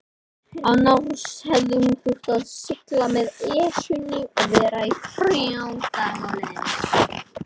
Annars hefði hún þurft að sigla með Esjunni og vera þrjá daga á leiðinni.